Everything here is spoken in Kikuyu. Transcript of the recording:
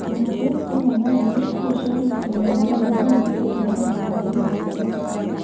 Ningĩ, rĩmwe na rĩmwe cukuru cia ũrigitani wa magego no ihote kũheana mawoni ma kerĩ.